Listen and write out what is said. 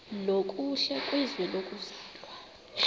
nokuhle kwizwe lokuzalwa